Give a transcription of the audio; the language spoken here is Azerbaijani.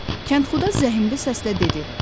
Kəndxuda zəhmli səslə dedi: